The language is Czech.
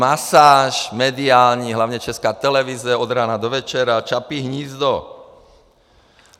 Masáž mediální, hlavně Česká televize, od rána do večera Čapí hnízdo.